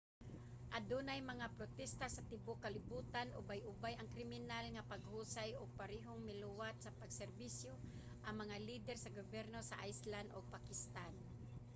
adunay mga protesta sa tibuok kalibutan ubay-ubay nga kriminal nga paghusay ug parehong miluwat sa pag-serbisyo ang mga lider sa gobyerno sa iceland ug pakistan